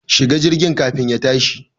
Shi ga jirgin kafin ya tashi